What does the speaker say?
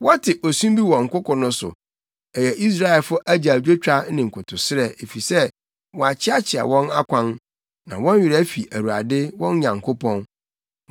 Wɔte osu bi wɔ nkoko no so, ɛyɛ Israelfo agyaadwotwa ne nkotosrɛ, efisɛ wɔakyeakyea wɔn akwan na wɔn werɛ afi Awurade, wɔn Nyankopɔn.